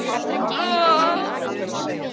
Hún ofaná öxl Þórhildar sem strauk henni um bakið.